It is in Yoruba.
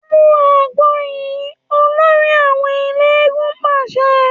‘Mu àgbo yìí!’, olórí àwo̩n eléégún pàs̩e̩